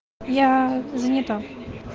я занята